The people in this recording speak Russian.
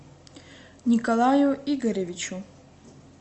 николаю игоревичу